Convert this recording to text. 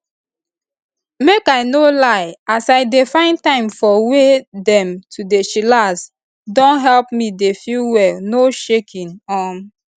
make i no lie as i dey find time for way dem to dey chillax don help me dey feel well no shaking um